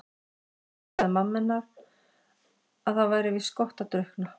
En þá sagði mamma henni að það væri víst gott að drukkna.